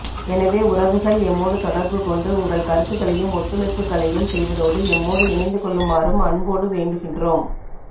எனவே உறவுகள் எம்மோடு தொடர்பு கொண்டு உங்கள் கருத்துக்களையும் ஒத்துழைப்புக்களையும் செய்வதோடு எம்மோடு இணைந்து கொள்ளுமாறும் அன்போடு வேண்டுகின்றோம்